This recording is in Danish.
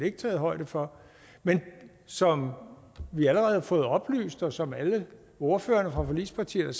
er taget højde for men som vi allerede har fået oplyst og som alle ordførerne fra forligspartierne